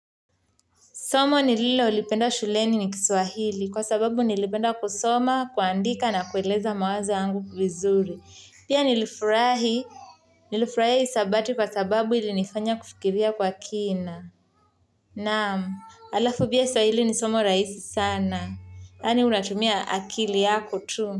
Somo nililolipenda shuleni ni kiswahili kwa sababu nilipenda kusoma kuandika na kueleza mawazo yangu vizuri pia nilifuraha hisabati kwa sababu ili nifanya kufikiria kwa kina. Naam, halafu pia swahili ni somo rahisi sana. Yani unatumia akili yako tu.